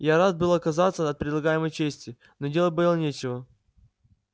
я рад был отказаться от предлагаемой чести но делать было нечего